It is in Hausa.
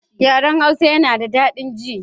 Yaran Hausa yana da dadin ji